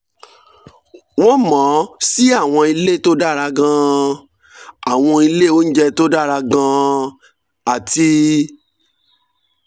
wọ́n mọ̀ ọ́n sí àwọn ilé tó dára gan-an àwọn ilé oúnjẹ tó dára gan-an àti